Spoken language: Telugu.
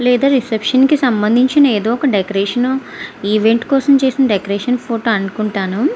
లేదా రిసెప్షన్ కి సమదించిన ఎదో ఒక డెకొరేషన్ ఒన్ ఈవెంట్ కోసం చేసిన డెకొరేషన్ ఫోటో అనుకుంటాను.